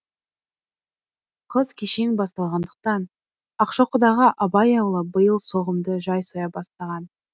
қыс кешең басталғандықтан акшокыдағы абай аулы биыл соғымды жай соя бастаған